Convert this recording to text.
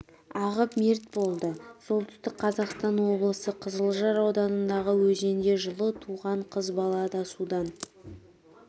ағып мерт болды солтүстік қазақстан облысы қызылжар ауданындағы өзенде жылы туған қыз бала да судан